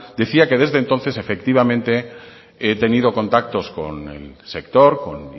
decía que desde entonces efectivamente he tenido contactos con el sector con